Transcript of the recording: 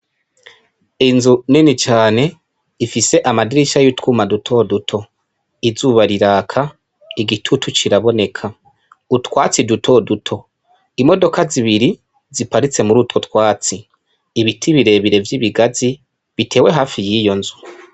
Inzu nini cane ifise amadirisha y'utwuma dutoduto. Izuba riraka, igitutu kiraboneka. Utwatsi dutoduto imodoka zibiri ziparitse muri utwo twatsi. Ibiti birebire vy'ibigazi bitewe hafi y'iyo nzu.